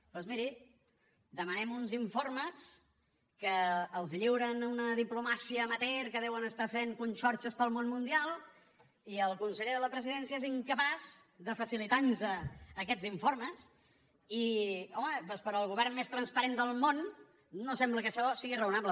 doncs miri demanem uns informes que els lliuren a una diplomàcia amateur que deuen estar fent conxorxes pel món mundial i el conseller de la presidència és incapaç de facilitar nos aquests informes i home doncs per al govern més transparent del món no sembla que això sigui raonable